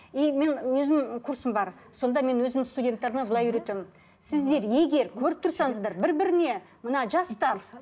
и мен өзім курсым бар сонда мен өзімнің студенттеріме былай үйретемін сіздер егер көріп тұрсаңыздар бір біріне мына жастар